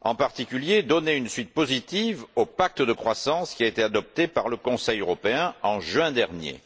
en particulier, à donner une suite positive au pacte de croissance qui a été adopté par le Conseil européen, en juin dernier.